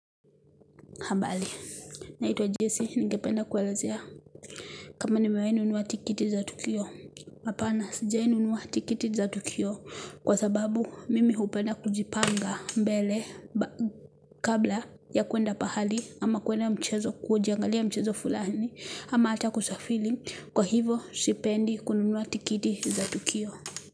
Hambali, naitwa Jesse, ningependa kuelazea kama nimewai nunua tikiti za Tukio. Hapana, sijai nunua tikiti za Tukio kwa sababu mimi hupenda kujipanga mbele kabla ya kuenda pahali ama kuenda mchezo kujiangalia mchezo fulani ama ata kusafili kwa hivo sipendi kununua tikiti za Tukio.